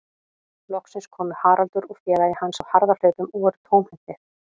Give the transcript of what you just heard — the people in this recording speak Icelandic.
Loksins komu Haraldur og félagi hans á harðahlaupum og voru tómhentir.